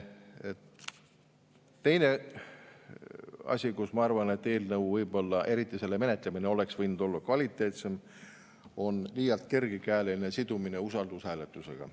Teine asi, kus ma arvan, et eelnõu, eriti selle menetlemine, oleks võib-olla võinud olla kvaliteetsem, on liialt kergekäeline sidumine usaldushääletusega.